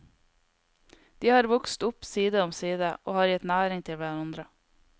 De har vokst opp side om side og har gitt næring til hverandre.